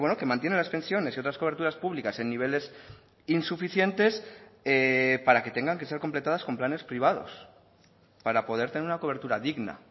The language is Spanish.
que mantiene las pensiones y otras coberturas públicas en niveles insuficientes para que tengan que ser completadas con planes privados para poder tener una cobertura digna